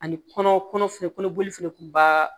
Ani kɔnɔ fɛnɛ kɔnɔ boli fɛnɛ kun b'a